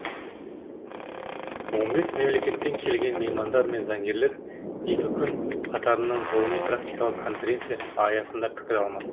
он бес мемлекеттен келген меймандар мен заңгерлер екі күн қатарынан ғылыми практикалық конференция аясында пікір алмаспақ